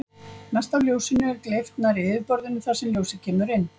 Mest af ljósinu er gleypt nærri yfirborðinu þar sem ljósið kemur inn.